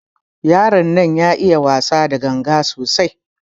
Yaron nan ya iya wasa da ganga sosai.